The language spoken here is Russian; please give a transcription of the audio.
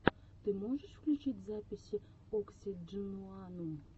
ты можешь включить записи оксидженуанум